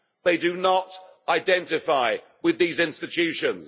They do not identify with these institutions.